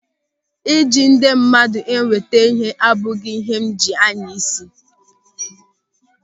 Ịji ndị mmadụ enweta ịhe abụghị ịhe m ji anya isi.